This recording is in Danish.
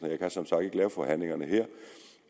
jeg kan som sagt ikke lave forhandlingerne her